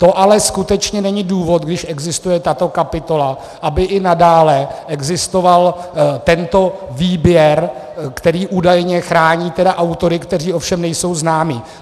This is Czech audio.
To ale skutečně není důvod, když existuje tato kapitola, aby i nadále existoval tento výběr, který údajně chrání autory, kteří ovšem nejsou známi.